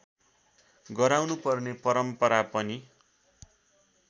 गराउनुपर्ने परम्परा पनि